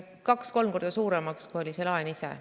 ... 2–3 korda suuremaks, kui oli laen ise.